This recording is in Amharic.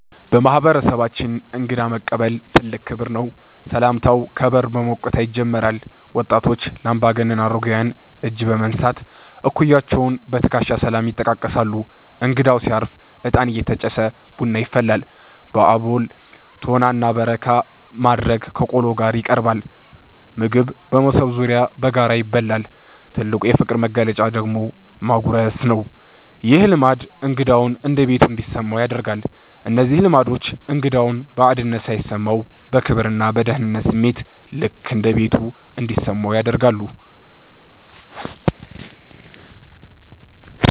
በማህበረሰባችን እንግዳ መቀበል ትልቅ ክብር ነው። ሰላምታው ከበር በሞቅታ ይጀምራል። ወጣቶች ለአምባገነን አረጋውያን እጅ በመንሳት፣ እኩያዎች በትከሻ ሰላምታ ይጠቃቀሳሉ። እንግዳው ሲያርፍ እጣን እየተጨሰ ቡና ይፈላል። በአቦል፣ ቶና እና በረካ ማዕረግ ከቆሎ ጋር ይቀርባል። ምግብ በመሶብ ዙሪያ በጋራ ይበላል። ትልቁ የፍቅር መግለጫ ደግሞ ማጉረስ ነው። ይህ ልማድ እንግዳው እንደ ቤቱ እንዲሰማው ያደርጋል። እነዚህ ልማዶች እንግዳው ባዕድነት ሳይሰማው፣ በክብርና በደህንነት ስሜት "ልክ እንደ ቤቱ" እንዲሰማው ያደርጋሉ።